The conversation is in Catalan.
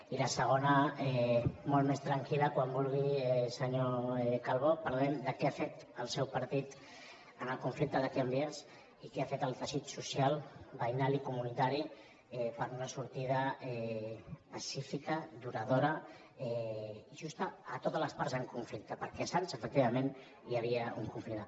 i la segona molt més tranquil·la quan vulgui senyor calbó parlem de què ha fet el seu partit en el conflicte de can vies i què ha fet el teixit social veïnal i comunitari per donar sortida pacífica duradora i justa a totes les parts en conflicte perquè a sants efectivament hi havia un conflicte